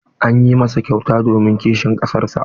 An yi masa kyauta don kishin ƙasar sa.